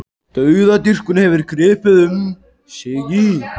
Dauðadýrkun hefur gripið um sig í